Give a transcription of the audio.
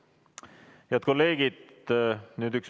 Head kolleegid!